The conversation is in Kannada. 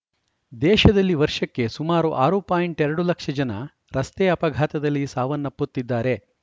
ದೇಶದಲ್ಲಿ ವರ್ಷಕ್ಕೆ ಸುಮಾರು ಆರು ಪಾಯಿಂಟ್ ಎರಡು ಲಕ್ಷ ಜನ ರಸ್ತೆ ಅಪಘಾತದಲ್ಲಿ ಸಾವನ್ನಪ್ಪುತ್ತಿದ್ದಾರೆ